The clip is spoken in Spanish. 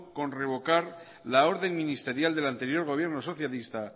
con revocar la orden ministerial del anterior gobierno socialista